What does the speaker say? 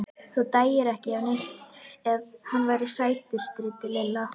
Þú dæir ekki neitt ef hann væri sætur. stríddi Lilla.